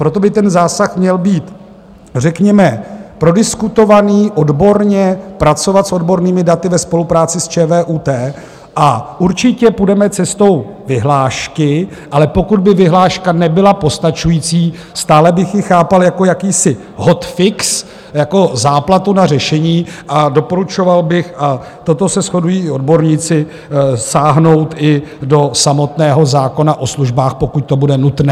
Proto by ten zásah měl být řekněme prodiskutovaný odborně, pracovat s odbornými daty ve spolupráci s ČVUT, a určitě půjdeme cestou vyhlášky, ale pokud by vyhláška nebyla postačující, stále bych ji chápal jako jakýsi hot fix, jako záplatu na řešení, a doporučoval bych, a toto se shodují i odborníci, sáhnout i do samotného zákona o službách, pokud to bude nutné.